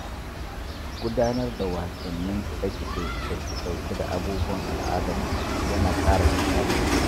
Gudanar da wasannin kide-kide da ke ɗauke da abubuwan al’adarku ya na ƙara nishaɗi.